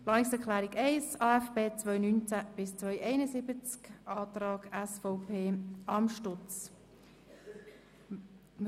Wir stimmen ab über die Planungserklärung 1 Amstutz/SVP